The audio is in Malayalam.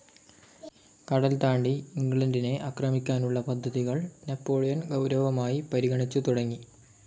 കടൽതാണ്ടി ഇംഗ്ലണ്ടിനെ ആക്രമിക്കാനുള്ള പദ്ധതികൾ നാപ്പോളിയൻ ഗൗരവമായി പരിഗണിച്ചുതുടങ്ങി.